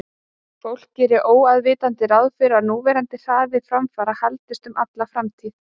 Fólk gerir óafvitandi ráð fyrir að núverandi hraði framfara haldist um alla framtíð.